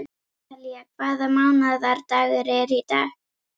Natalía, hvaða mánaðardagur er í dag?